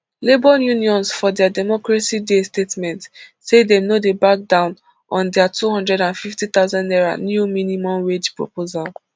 labour unions for dia democracy day statement say dem no dey back down on dia two hundred and fifty thousand naira new minimum wage proposal